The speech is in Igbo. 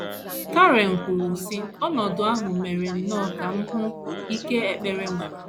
Karen kwuru, sị: “ Ọnọdụ ahụ mere nnọọ ka m hụ ike ekpere nwere. ”